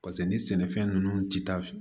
Paseke ni sɛnɛfɛn ninnu ti taa fɛ